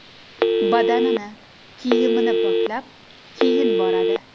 Badanini, kiyimini poklab, keyin boradi.